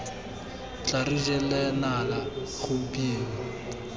tla re jela nala gompieno